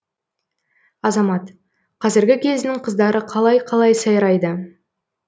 азамат қазіргі кездің қыздары қалай қалай сайрайды